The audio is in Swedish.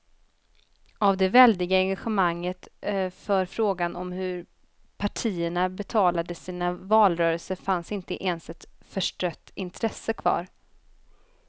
Av det väldiga engagemanget för frågan om hur partierna betalade sina valrörelser fanns inte ens ett förstrött intresse kvar.